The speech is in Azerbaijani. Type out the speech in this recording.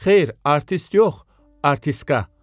Xeyr, artist yox, artistka.